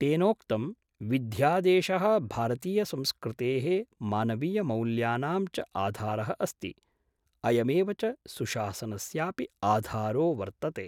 तेनोक्तम् विध्यादेश: भारतीय संस्कृतेः मानवीयमौल्यानां च आधारः अस्ति, अयमेव च सुशासनस्यापि आधारो वर्तते।